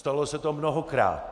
Stalo se to mnohokrát.